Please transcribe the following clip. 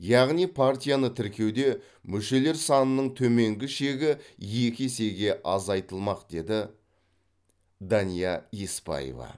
яғни партияны тіркеуде мүшелер санының төменгі шегі екі есеге азайтылмақ деді дания еспаева